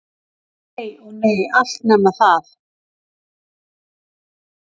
Nei- ó nei, allt nema það.